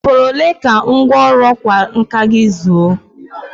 Ọ fọrọ ole ka ngwọrụ ọkwa nka gị zuo?